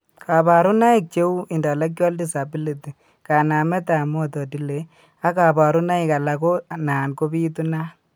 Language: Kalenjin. Kabarunaik cheuu: Intellectual disability, kanamet ab motor delay, ag kabarunaik alak ko nan kobitunat